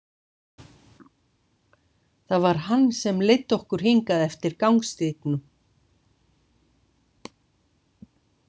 Það var hann sem leiddi okkur hingað eftir gangstígnum.